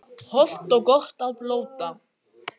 Hollt og gott að blóta